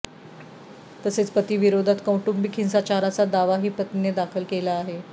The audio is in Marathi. तसेच पतीविरोधात कौटुंबिक हिंसाचाराचा दावाही पत्नीने दाखल केला आहे